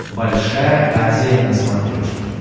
большая азия на смотрешке